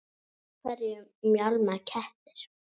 Af hverju mjálma kettir?